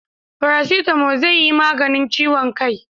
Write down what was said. Farasitamo zai yi maganin ciwon kai